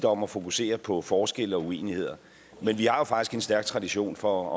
om at fokusere på forskelle og uenigheder men vi har faktisk en stærk tradition for